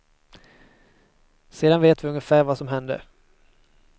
Sedan vet vi ungefär vad som hände.